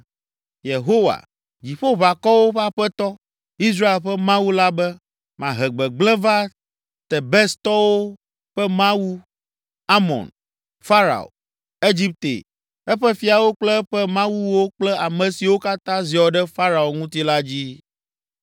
Yehowa, Dziƒoʋakɔwo ƒe Aƒetɔ, Israel ƒe Mawu la be, “Mahe gbegblẽ va Tebestɔwo ƒe mawu Amon, Farao, Egipte, eƒe fiawo kple eƒe mawuwo kple ame siwo katã ziɔ ɖe Farao ŋuti la dzi.